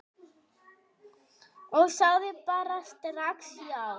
Ég sagði bara strax já.